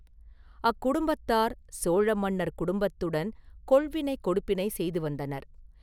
அக்குடும்பத்தார் சோழ மன்னர் குடும்பத்துடன் கொள்வினை – கொடுப்பினை செய்து வந்தனர்.